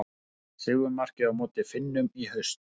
Sigurmarkið á móti Finnum í haust.